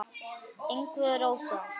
Ingvi og Rósa.